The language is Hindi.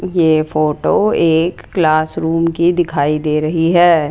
ये फोटो एक क्लास रूम की दिखाई दे रही है।